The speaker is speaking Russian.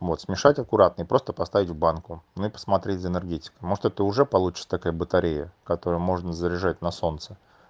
вот смешать это аккуратно и просто поставить в банку ну и посмотреть за энергетикой может это уже получается такая батарея которую можно заряжать на солнце